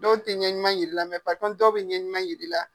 Dɔw tɛ ɲɛ ɲuman jira i la, mɛ , dɔw bɛ ɲɛ ɲuman jir'i la.